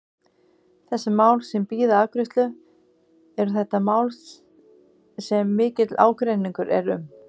Þessi mál sem bíða afgreiðslu, eru þetta mál sem mikill ágreiningur er um?